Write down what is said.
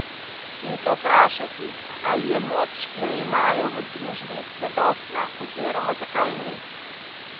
In se vprašati, ali je moč, ki jo imajo v družbi, zadostna, oziroma zakaj ni.